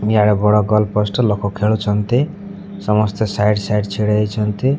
ଇଆଡେ ବଡ଼ goal post ଲୋକ ଖେଳୁଛନ୍ତି ସମସ୍ତେ ସାଇଡ ସାଇଡ ଛିଡା ହେଇଛନ୍ତି।